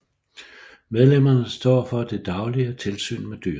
Medlemmerne står for det daglige tilsyn med dyrene